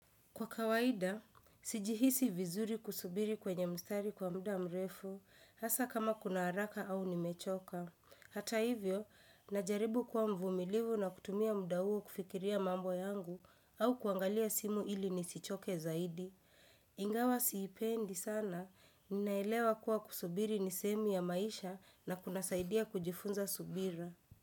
Kwa kawaida, sijihisi vizuri kusubiri kwenye mstari kwa mda mrefu, hasa kama kuna haraka au nimechoka. Hata hivyo, najaribu kuwa mvumilivu na kutumia mda huo kufikiria mambo yangu au kuangalia simu ili nisichoke zaidi. Ingawa siipendi sana, ninaelewa kuwa kusubiri ni sehemu ya maisha na kunasaidia kujifunza subira.